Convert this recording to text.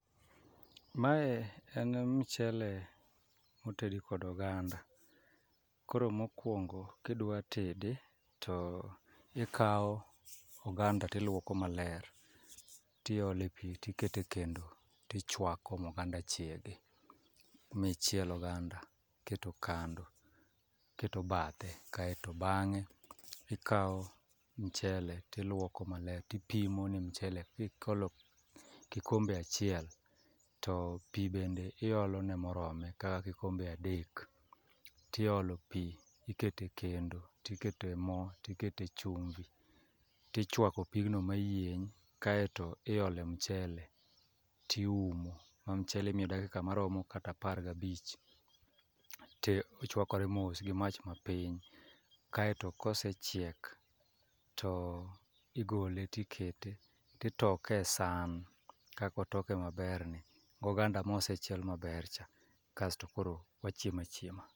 Mae en mchele motedi kod oganda. Koro mokwongo kidwa tede to ikawo oganda tilwoko maler tiole pi tikete kendo tichwako moganda chiegi, michiel oganda iketo kando, iketo bathe. Kaeto bang'e ikawo mchele tilwoko maler tipimo i mchele kikolo kikombe achiel, to pi bede iolone morome kaka kikombe adek. Tiolo pi ikete kendo tiketo e mo, tikete chumbi, tichwako pigno mayieny kaeto iole mchele tiumo. Ma mchele imiyo dakika maromo kata apar gabich. Ti ochwakore mos gi mach mapiny, kaeto kosechieko to igole tikete, titoke e san. Kako toke maber ni goganda mosechiel mber cha, kasto koro wachiema chiema.